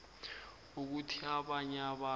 ukuthi abanye abantu